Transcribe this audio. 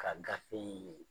Ka gafe in